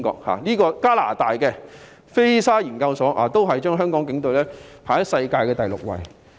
此外，加拿大的菲沙研究所也將香港警隊置於世界第六位。